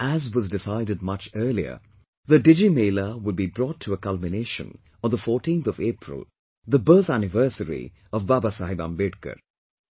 And as was decided much earlier, the Digimela will be brought to a culmination on the 14th of April, the birth anniversary of Baba Saheb Ambedkar